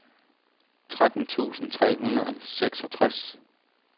tretten tusind tre hundrede og seksogtres